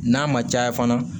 N'a ma caya fana